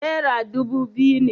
Nera dubu biyu ne